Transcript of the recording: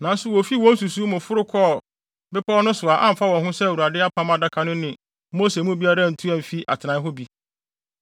Nanso wofii wɔn nsusuwii mu foro kɔɔ bepɔw no so a amfa wɔn ho sɛ Awurade Apam adaka no ne Mose mu biara antu amfi atenae hɔ bi.